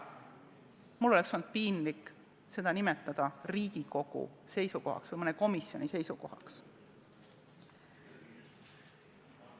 Mul oleks olnud piinlik seda nimetada Riigikogu seisukohaks või mõne komisjoni seisukohaks.